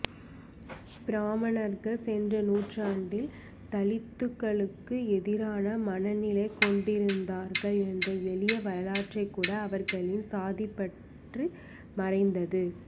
பிராமணர்கள் சென்ற நூற்றாண்டில் தலித்துக்களுக்கு எதிரான மனநிலை கொண்டிருந்தார்கள் என்ற எளிய வரலாற்றைக்கூட அவர்களின் சாதிப்பற்று மறைத்தது